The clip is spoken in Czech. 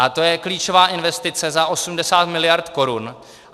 A to je klíčová investice za 80 miliard korun.